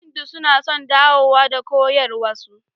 Hindu suna son dawowa da koyarwarsu.